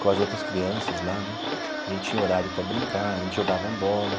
com as outras crianças lá né, a gente tinha horário para brincar, a gente jogava bola.